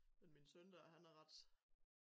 Men min søn dér han er ret